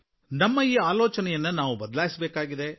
ನಮಗೆ ಈ ಆಲೋಚನೆಯನ್ನು ಬದಲಿಸುವ ಆಗತ್ಯ ಇದೆ